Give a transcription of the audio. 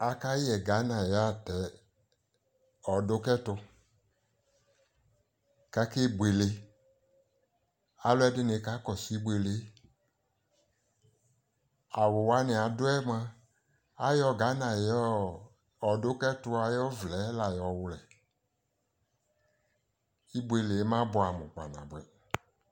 akayɛ Ghana ayi ɔdʋ kɛtʋ kʋ akɛ bʋɛlɛ, alʋɛdini kakɔsʋ ɛbʋɛlɛ, awʋwaniadʋɛ mʋaayɔ Ghana ayiɔ ɔdʋkɛtʋ ayi ɔvlɛ la yɔwlɛ, ɛbʋɛlɛ ma bʋamʋ kpa nabʋɛ